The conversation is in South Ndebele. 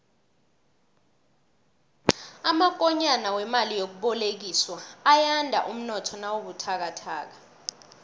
amakonyana wemali yokubolekiswa ayanda umnotho nawubuthakathaka